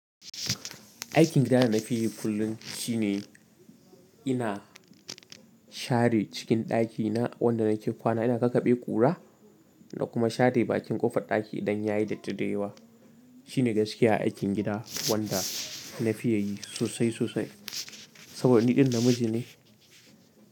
Aikin gida da nafi yi kullum shine ina share cikin ɗakina wanda nake kwana. Ina kakabe ƙura na kuma share bakin ƙofar ɗaki idan ya yi datti dayawa. Shine gaskiya aikin gida wanda nafiya yi sosai sosai saboda ni ɗan namiji ne.